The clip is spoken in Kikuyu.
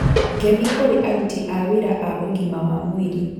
Ngemi kũrĩ aruti a wĩra a ũgima wa mwĩrĩ